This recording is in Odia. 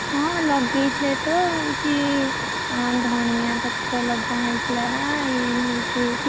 ହଁ ଲଗେଇଥିଲେ ତ ହଉଛି ହଁ ଧନିଆ ପତ୍ର ଲଗା ହେଇଥିଲା। ଏଇ ହଉଛି,